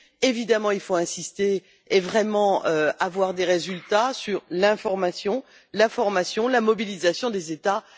Évidemment, il faut insister et obtenir vraiment des résultats sur l'information, la formation et la mobilisation des États.